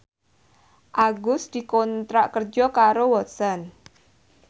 Agus dikontrak kerja karo Watson